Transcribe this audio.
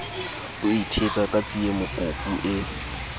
o ithetsa ka tsiemokopu e